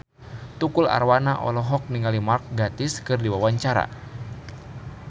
Tukul Arwana olohok ningali Mark Gatiss keur diwawancara